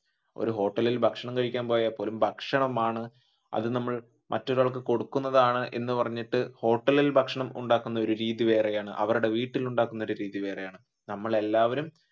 ഒരു ഹോട്ടലിൽ ഭക്ഷണം കഴിക്കാൻ പോയാൽ പോലും ഭക്ഷണമാണ് അത് നമ്മൾ മറ്റൊരാൾക്കു കൊടുക്കുന്നതാണ് എന്ന് പറഞ്ഞിട്ട് ഹോട്ടലിൽ ഭക്ഷണം ഉണ്ടാക്കുന്ന ഒരു രീതി വേറെയാണ് അവരുടെ വീട്ടിൽ ഉണ്ടാക്കുന്ന രീതി വേറെയാണ്. നമ്മൾ എല്ലാവരും